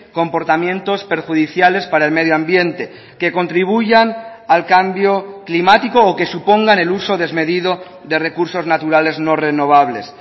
comportamientos perjudiciales para el medio ambiente que contribuyan al cambio climático o que supongan el uso desmedido de recursos naturales no renovables